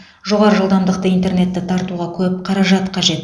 жоғары жылдамдықты интернетті тартуға көп қаражат қажет